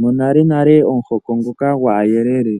Monalenale omuhoko ngoka gwaayelele